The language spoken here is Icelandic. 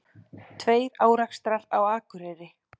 Tveir árekstrar á Akureyri